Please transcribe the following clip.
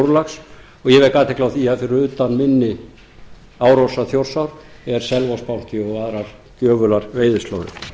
og ég vek athygli á því að fyrir utan mynni árósar þjórsár er selvogsbanki og aðrar gjöfular veiðislóðir